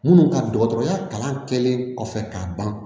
Minnu ka dɔgɔtɔrɔya kalan kɛlen kɔfɛ k'a ban